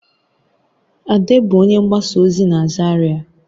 Ade bụ onye mgbasa ozi na Zaria